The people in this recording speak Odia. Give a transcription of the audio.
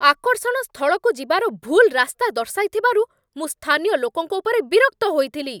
ଆକର୍ଷଣ ସ୍ଥଳକୁ ଯିବାର ଭୁଲ୍ ରାସ୍ତା ଦର୍ଶାଇଥିବାରୁ ମୁଁ ସ୍ଥାନୀୟ ଲୋକଙ୍କ ଉପରେ ବିରକ୍ତ ହୋଇଥିଲି।